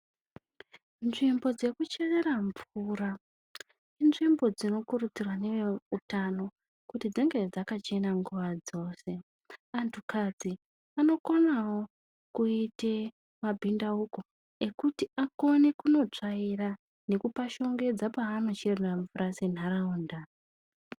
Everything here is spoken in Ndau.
Nzvimbo dzeku cherera mvura inzvimbo dzino kurudzirwa ne veutano kuti dzinge dzakachena nguva dzose antu kadzi anokonawo kuite ma bhindauko ekuti akone kuno tsvaira nekupa shongedza pavano cherera mvura se nharaunda.